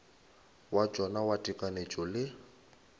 wa tšona wa tekanyetšo le